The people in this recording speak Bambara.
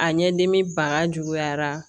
A ɲɛdimi ban juguyara